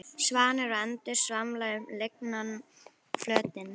Svanir og endur svamla um lygnan flötinn.